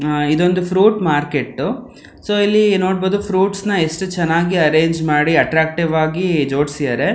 ಆಹ್ಹ್ ಇದು ಒಂದು fruit market ದ್ ಸೊ ಇಲ್ಲಿ ನೋಡಬಹುದು ಫ್ರೂಟ್ಸ್ ನ ಎಷ್ಟು ಚೆನ್ನಾಗಿ ಅರೆಂಜ್ ಮಾಡಿ ಅಟ್ಟ್ರಕ್ಟಿವ್ ಆಗಿ ಜೋಡ್ಸಿದರೆ.